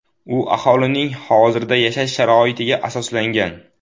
U aholining hozirda yashash sharoitiga asoslangan.